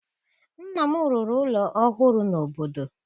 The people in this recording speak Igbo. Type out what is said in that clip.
Nna m rụrụ ụlọ ọhụrụ n'obodo